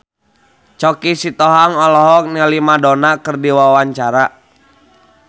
Choky Sitohang olohok ningali Madonna keur diwawancara